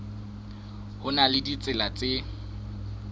ho na le ditsela tse